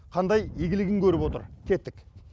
қандай игілігін көріп отыр кеттік